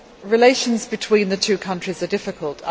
Relations between the two countries are difficult.